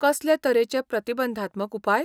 कसले तरेचे प्रतिबंधात्मक उपाय?